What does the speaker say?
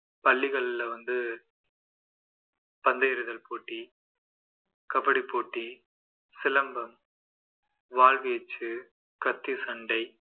பள்ளிகள்ல வந்து பந்து எறிதல் போட்டி கபடி போட்டி சிலம்பம் வாள் வீச்சு, கத்தி சண்டை